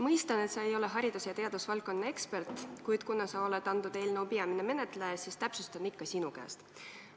Mõistan, et sa ei ole haridus- ja teadusvaldkonna ekspert, kuid kuna sa oled eelnõu peamine menetleja, siis küsin täpsustust ikka sinu käest.